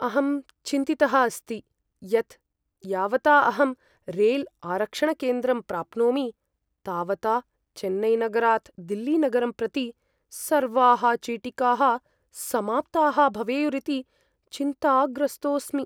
अहं चिन्तितः अस्ति यत् यावता अहं रैल्आरक्षणकेन्द्रं प्राप्नोमि तावता चेन्नैनगरात् दिल्लीनगरं प्रति सर्वाः चीटिकाः समाप्ताः भवेयुरिति चिन्ताग्रस्तोस्मि।